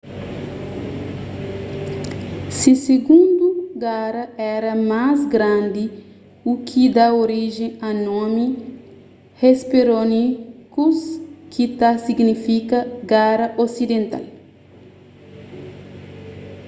se sigundu gara éra más grandi u ki da orijen a nomi hesperonychus ki ta signifika gara osidental